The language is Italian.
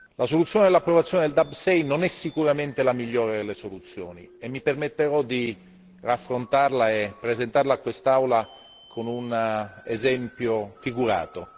La soluzione dell'approvazione del DAB 6 non è sicuramente la migliore delle soluzioni, e mi permetterò di raffrontarla e presentarla a quest'Aula con un esempio figurato.